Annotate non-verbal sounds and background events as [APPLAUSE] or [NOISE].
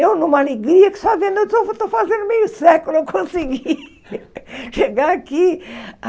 Eu, numa alegria, que só vendo, eu estou fazendo meio século, eu consegui [LAUGHS] chegar aqui.